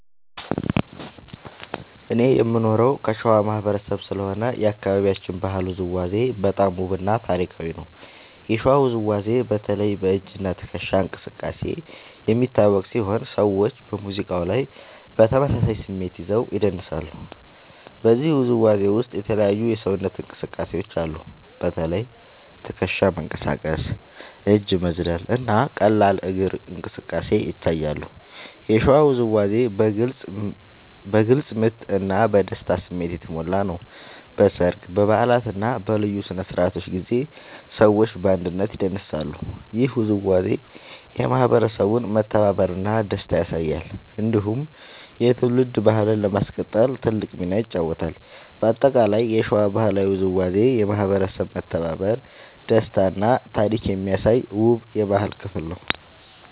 እኔ የምኖረው ከሸዋ ማህበረሰብ ስለሆነ የአካባቢያችን ባህላዊ ውዝዋዜ በጣም ውብ እና ታሪካዊ ነው። የሸዋ ውዝዋዜ በተለይ በ“እጅ እና ትከሻ እንቅስቃሴ” የሚታወቅ ሲሆን ሰዎች በሙዚቃ ላይ በተመሳሳይ ስሜት ይዘው ይደንሳሉ። በዚህ ውዝዋዜ ውስጥ የተለያዩ የሰውነት እንቅስቃሴዎች አሉ። በተለይ ትከሻ መንቀሳቀስ፣ እጅ መዝለል እና ቀላል እግር እንቅስቃሴ ይታያሉ። የሸዋ ውዝዋዜ በግልጽ ምት እና በደስታ ስሜት የተሞላ ነው። በሰርግ፣ በበዓላት እና በልዩ ስነ-ስርዓቶች ጊዜ ሰዎች በአንድነት ይደንሳሉ። ይህ ውዝዋዜ የማህበረሰቡን መተባበር እና ደስታ ያሳያል። እንዲሁም የትውልድ ባህልን ለማስቀጠል ትልቅ ሚና ይጫወታል። በአጠቃላይ የሸዋ ባህላዊ ውዝዋዜ የማህበረሰብ መተባበር፣ ደስታ እና ታሪክ የሚያሳይ ውብ የባህል ክፍል ነው።